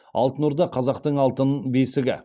алтын орда қазақтың алтын бесігі